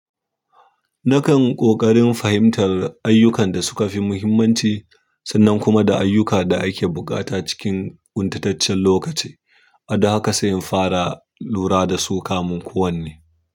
Nakan ƙoƙarin fahimtar ayyukan da suka fi muhimmanci sannan kuma da ayyuka da ake buƙata cikin ƙuntataccen lokaci. A da haka sai in fara lura da su kamun kowan ne.